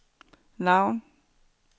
navn